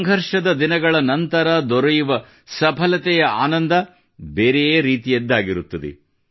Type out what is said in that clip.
ಸಂಘರ್ಷದ ದಿನಗಳ ನಂತರ ದೊರೆಯುವ ಸಫಲತೆಯ ಆನಂದ ಬೆರೆಯೇ ರೀತಿಯದ್ದಾಗಿರುತ್ತದೆ